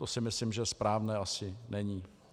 To si myslím, že správné asi není.